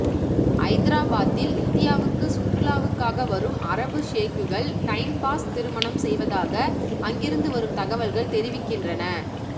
ஐதராபாத்தில் இந்தியாவுக்கு சுற்றுலாவுக்காக வரும் அரபுஷேக்குகள் டைம் பாஸ் திருமணம் செய்வதாக அங்கிருந்து வரும் தகவல்கள் தெரிவிக்கின்றன